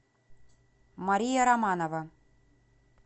мария романова